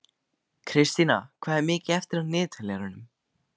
Kristína, hvað er mikið eftir af niðurteljaranum?